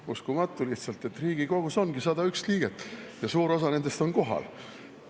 Uskumatu lihtsalt, et Riigikogus ongi 101 liiget ja suur osa nendest on kohal.